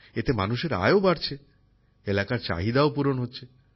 এতে মানুষের আয়ও বাড়ছে এলাকার চাহিদাও পূরণ হচ্ছে